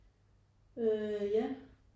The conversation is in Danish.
Øh ja